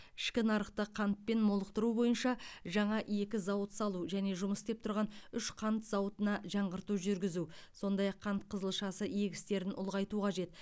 ішкі нарықты қантпен молықтыру бойынша жаңа екі зауыт салу және жұмыс істеп тұрған үш қант зауытына жаңғырту жүргізу сондай ақ қант қызылшасы егістерін ұлғайту қажет